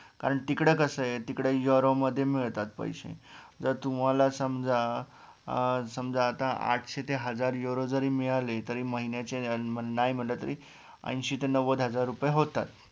कारण तिकडं कसंय तिकडं euro मध्ये मिळतात पैसे जर तुम्हाला समजा अं समजा आता आठशे ते हजार euro जरी मिळाले तरी महिन्याचे नाय म्हणलं तरी ऐन्शी ते नव्वद हजार रुपय होतात